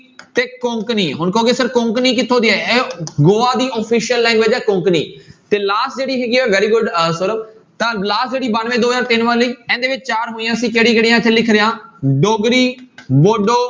ਤੇ ਕੋਕਣੀ, ਹੁਣ ਕਹੋਗੇ sir ਕੋਕਣੀ ਕਿੱਥੋਂ ਦੀ ਹੈ ਇਹ ਗੋਆ ਦੀ official language ਹੈ ਕੋਕਣੀ ਤੇ last ਜਿਹੜੀ ਹੈਗੀ ਹੈ very good ਅਹ ਸੋਰਵ ਤਾਂ last ਜਿਹੜੀ ਬਾਨਵੇਂ ਦੋ ਹਜ਼ਾਰ ਤਿੰਨ ਵਾਲੀ, ਇਹਦੇ ਵਿੱਚ ਚਾਰ ਹੋਈਆਂ ਸੀ ਕਿਹੜੀ ਕਿਹੜੀਆਂ ਇੱਥੇ ਲਿਖ ਰਿਹਾਂ ਡੋਗਰੀ ਵੋਡੋ